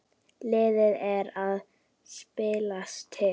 Liðið er að slípast til.